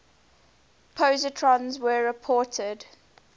positrons were reported